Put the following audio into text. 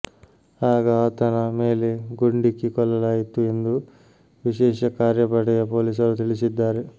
ಆಗ ಆತನ ಮೇಲೆ ಗುಂಡಿಕ್ಕಿ ಕೊಲ್ಲಲಾಯಿತು ಎಂದು ವಿಶೇಷ ಕಾರ್ಯಪಡೆಯ ಪೊಲೀಸರು ತಿಳಿಸಿದ್ದಾರೆ